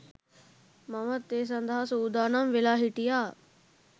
මමත් ඒ සඳහා සූදානම් වෙලා හිටියා.